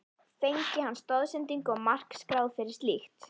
Fengi hann stoðsendingu og mark skráð fyrir slíkt?